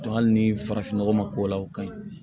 hali ni farafin nɔgɔ ma k'o la o ka ɲi